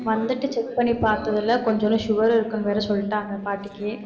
வந்துட்டு check பண்ணி பார்த்ததுல கொஞ்சுண்டு sugar இருக்குன்னு வேற சொல்லிட்டாங்க பாட்டிக்கு